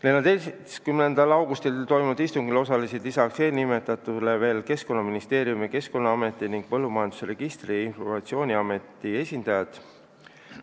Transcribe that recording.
14. augustil toimunud istungil osalesid lisaks eelnimetatutele veel Keskkonnaministeeriumi, Keskkonnaameti ning Põllumajanduse Registrite ja Informatsiooni Ameti esindajad.